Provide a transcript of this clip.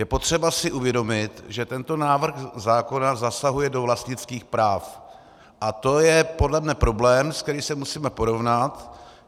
Je potřeba si uvědomit, že tento návrh zákona zasahuje do vlastnických práv a to je podle mě problém, se kterým se musíme porovnat.